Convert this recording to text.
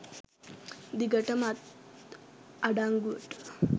දිගටම අත් අඩංගුවට